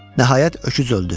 Nəhayət öküz öldü.